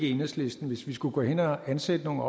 enhedslisten hvis vi skulle gå hen og ansætte nogle